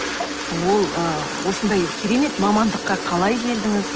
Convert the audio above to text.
ол ы осындай керемет мамандыққа қалай келдіңіз